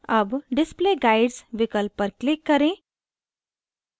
अब display guides विकल्प पर click करें